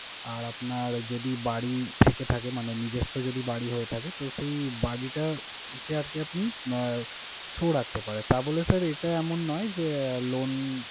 আর আপনার যদি বাড়ি থেকে থাকে, মানে নিজস্ব যদি বাড়ি হয়ে থাকে। তো সে বাড়িটার care কে আপনি আহ show রাখতে পারেন। তা বলে sir এটা এমন যে loan